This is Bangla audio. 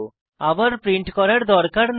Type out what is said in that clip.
আবার প্রিন্ট করার দরকার নেই